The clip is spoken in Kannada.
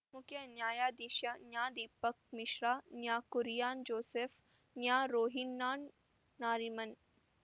ಮುಖ್ಯ ನ್ಯಾಯಾಧೀಶ ನ್ಯಾ ದೀಪಕ್‌ ಮಿಶ್ರಾ ನ್ಯಾ ಕುರಿಯನ್‌ ಜೋಸೆಫ್‌ ನ್ಯಾ ರೋಹಿನ್ಟನ್‌ ನಾರಿಮನ್‌